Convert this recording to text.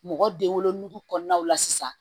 Mɔgɔ den wolo nugu kɔnɔnaw la sisan.